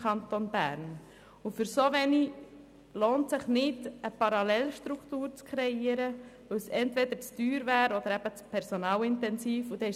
Für diese Anzahl lohnt es sich nicht, eine Parallelstruktur zu kreieren, da diese entweder zu teuer oder zu personalintensiv wäre.